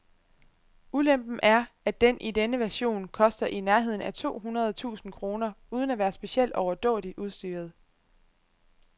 Ulempen er, at den i denne version koster i nærheden af to hundrede tusinde kroner uden at være specielt overdådigt udstyret.